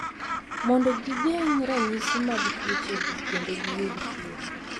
Mondo gigeng’ ranyisi mag tuochegi kendo giyud thieth.